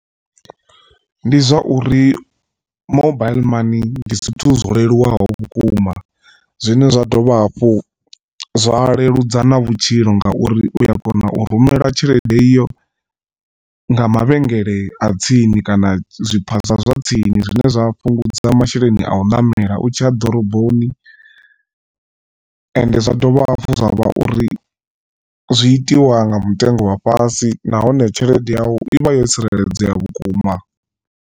Ndi zwa uri mobile mani ndi zwithu zwo leluwaho vhukuma zwine zwa dovha hafhu zwa leludza na vhutshilo ngauri uya kona u rumela tshelede iyo nga mavhengele a tsini, kana zwiphaza zwa tsini zwine zwa fhungudza masheleni a u ṋamela u tshiya ḓoroboni ende zwa dovha hafhu zwa vha uri zwi itiwa nga mutengo wa fhasi nahone tshelede yau i vha yo tsireledzea vhukuma.